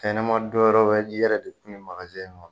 Fɛn ɲɛma don wɛrɛ yɔrɔ de tun bɛ magazin in kɔnɔ